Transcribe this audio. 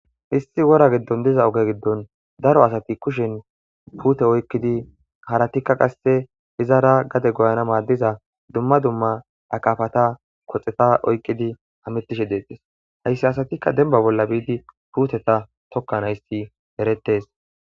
Histi wora giddon diza oge giddon daro asati kushen puute oykkidi haratikka qasse hizaara gade goyana maaddiza dumma dumma akafata koxeta oykqidi hamittishe deettes. Hayssi asatikka dembba bolla biidi puuteta tokka naysi eretes.